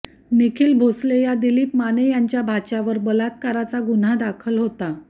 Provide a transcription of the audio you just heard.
निखिल भोसले या दिलीप माने यांच्या भाच्यावर बलात्काराचा गुन्हा दाखल होता